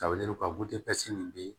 A wele ka bo ɛsi nin bi